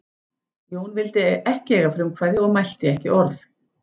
Jón vildi ekki eiga frumkvæði og mælti ekki orð.